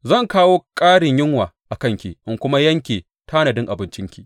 Zan kawo ƙarin yunwa a kanki in kuma yanke tanadin abincinki.